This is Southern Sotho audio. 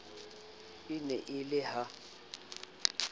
e ne e le ha